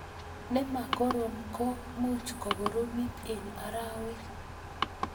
ne ma korom ko much kokoromit eng' arawek